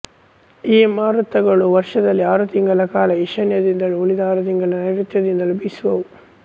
ಈ ಮಾರುತಗಳು ವರ್ಷದಲ್ಲಿ ಆರು ತಿಂಗಳ ಕಾಲ ಈಶಾನ್ಯದಿಂದಲೂ ಉಳಿದ ಆರು ತಿಂಗಳಕಾಲ ನೈರುತ್ಯದಿಂದಲೂ ಬೀಸುವುವು